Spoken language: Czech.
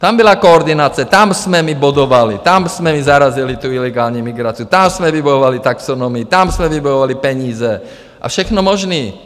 Tam byla koordinace, tam jsme my bodovali, tam jsme my zarazili tu ilegální migraci, tam jsme vybojovali taxonomii, tam jsme vybojovali peníze a všechno možné.